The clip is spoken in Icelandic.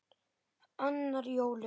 Annar í jólum.